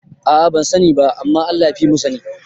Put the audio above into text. A'a bansa ni ba, amma Allah yafimu sani